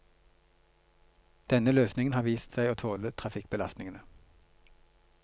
Denne løsningen har vist seg å tåle trafikkbelastningene.